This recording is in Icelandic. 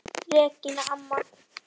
Regína amma.